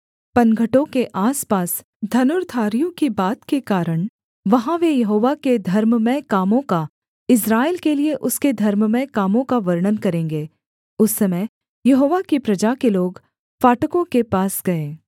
पनघटों के आसपास धनुर्धारियों की बात के कारण वहाँ वे यहोवा के धर्ममय कामों का इस्राएल के लिये उसके धर्ममय कामों का वर्णन करेंगे उस समय यहोवा की प्रजा के लोग फाटकों के पास गए